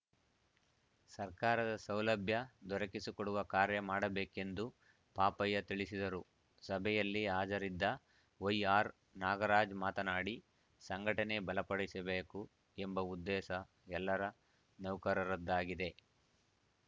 ಸರ್ಕಾರದ ಸೌಲಭ್ಯ ದೊರಕಿಸಿಕೊಡುವ ಕಾರ್ಯ ಮಾಡಬೇಕೆಂದು ಪಾಪಯ್ಯ ತಿಳಿಸಿದರು ಸಭೆಯಲ್ಲಿ ಹಾಜರಿದ್ದ ವೈಆರ್‌ ನಾಗರಾಜ್‌ ಮಾತನಾಡಿ ಸಂಘಟನೆ ಬಲಪಡಿಸಬೇಕು ಎಂಬ ಉದ್ದೇಶ ಎಲ್ಲರ ನೌಕರರದ್ದಾಗಿದೆ